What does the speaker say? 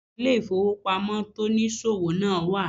Àwon ilé ìfowópamọ́ tonìsòwò náà wà